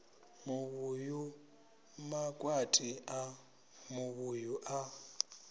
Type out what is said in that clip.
muvhuyu makwati a muvhuyu a